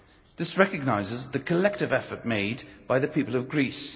This recognises the collective effort made by the people of Greece.